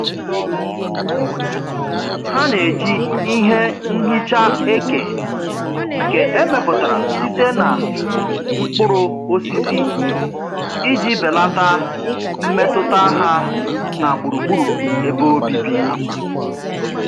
Ha na-eji ihe nhicha eke nke emeputara site na mkpuru osisi iji belata mmetụta ha na gburugburu ebe obibi.